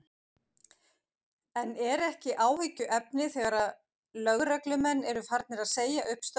En er ekki áhyggjuefni þegar lögreglumenn eru farnir að segja upp störfum?